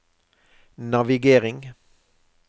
navigering